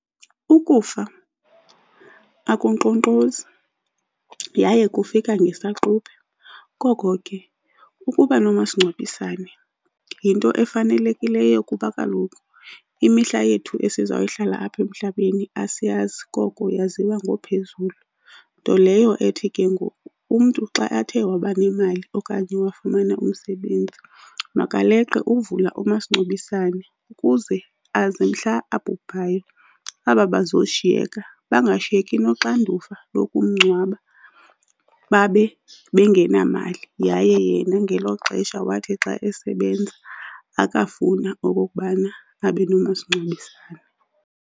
Ukufa akunkqonkqozi yaye kufika ngesaquphe. Koko ke ukuba nomasingcwabisane yinto efanelekileyo kuba kaloku imihla yethu esizawuyihlala apha emhlabeni asiyazi koko yaziwa ngoPhezulu. Nto leyo ethi ke ngoku umntu xa athe waba nemali okanye wafumana umsebenzi makaleqe uvula umasingcwabisane ukuze aze mhla abhubhayo, aba bazoshiyeka bangashiyeki noxanduva lokumngcwaba babe bengenamali. Yaye yena ngelo xesha wathi xa esebenza akafuna okokubana abe nomasingcwabisane.